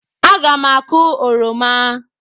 Aga m akụ oroma